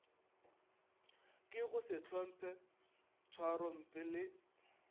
ke go sehlomphe tšhwarompe le